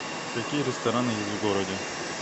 какие рестораны есть в городе